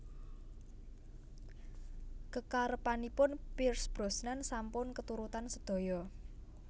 Kekarepanipun Pierce Brosnan sampun keturutan sedaya